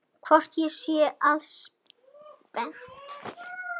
Hvort ég sé ekki spennt?